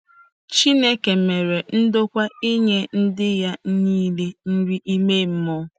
Chineke mere ndokwa inye ndị ya niile nri ime mmụọ.